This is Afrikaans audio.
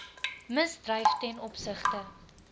misdryf ten opsigte